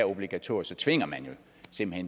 obligatorisk tvinger man